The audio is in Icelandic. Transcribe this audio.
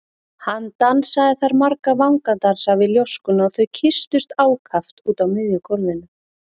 Hann dansaði þar marga vangadansa við ljóskuna og þau kysstust ákaft úti á miðju gólfinu.